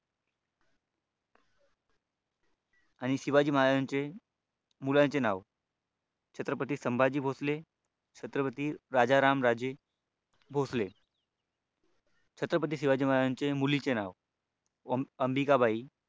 आणि शिवाजी महाराजांची मुलांची नाव छत्रपती संभाजी भोसले छत्रपती राजाराम राजे भोसले छत्रपती शिवाजी महाराजांच्या मुलीचे नाव अंबिकाबाई